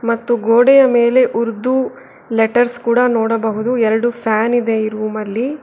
ಮತ್ತು ಗೋಡೆಯ ಮೇಲೆ ಉರ್ದು ಲೆಟರ್ಸ್ ಕೂಡ ನೋಡಬಹುದು ಎರಡು ಫ್ಯಾನ್ ಇದೆ ಈ ರೂಮಲ್ಲಿ.